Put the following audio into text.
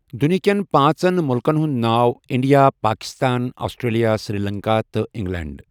دُنہکٮ۪ن پٲنٛژَن مُلکَن ہُنٛد ناو اِنڈیا، پاکِستان، آسٹریلیا، سری لنکا، تہٕ انگلینڈ.